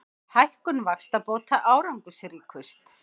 Hækkun vaxtabóta árangursríkust